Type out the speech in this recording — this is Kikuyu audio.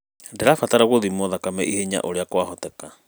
Ndirabatara gũthimwo thakame ihenya ũria kwahoteka